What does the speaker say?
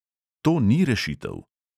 To ni rešitev.